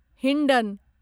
Hindon